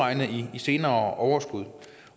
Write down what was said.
i senere overskud